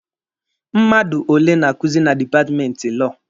Mmadụ ole na-akuzi na dipatmenti Lọọ?